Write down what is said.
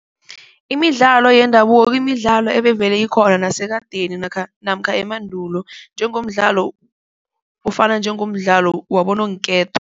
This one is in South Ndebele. Imidlalo yendabuko kumidlalo ebevele ikhona nasekadeni namkha emandulo njengomdlalo ofana njengomdlalo wabononketo.